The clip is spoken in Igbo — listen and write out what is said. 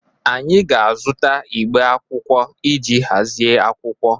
Anyị ga-azụta igbe akwụkwọ iji hazie akwụkwọ.